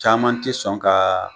Caman te sɔn ka